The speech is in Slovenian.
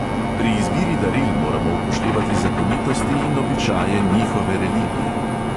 Pri izbiri daril moramo upoštevati zakonitosti in običaje njihove religije.